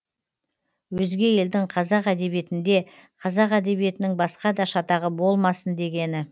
өзге елдің қазақ әдебиетінде қазақ әдебиетінің басқада шатағы болмасын дегені